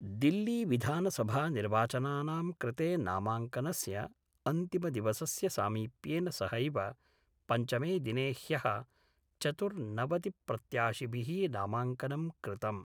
दिल्लीविधानसभानिर्वाचनानां कृते नामांकनस्य अंतिमदिवसस्य सामीप्येन सहैव पंचमे दिने ह्य: चतुर्नवतिप्रत्याशिभि: नामांकनं कृतम्।